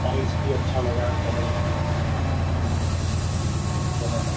Tiles भी अच्छा लगा है। कलर उसके अच्छे हैं। बने हैं।